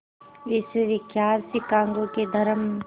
विश्वविख्यात शिकागो के धर्म